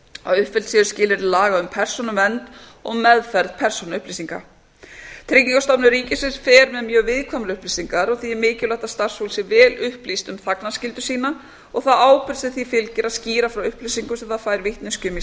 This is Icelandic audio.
að uppfyllt séu skilyrði laga um persónuvernd og meðferð persónuupplýsinga tryggingastofnun ríkisins fer með mjög viðkvæmar upplýsingar því er mikilvægt að starfsfólk sé vel upplýst um þagnarskyldu sína og þá ábyrgð sem því fylgir að skýra frá upplýsingum sem það fær vitneskju um í